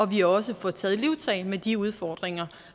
vi også får taget livtag med de udfordringer